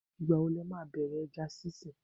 Ìgbà wo lo máa bẹ̀rẹ̀ ẹja sinsin?